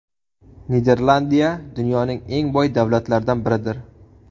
Niderlandiya dunyoning eng boy davlatlardan biridir.